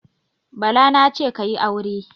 Bala na ce, "ka yi aure".